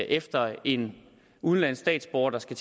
efter en udenlandsk statsborger der skal